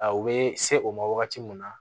A u bɛ se o ma wagati mun na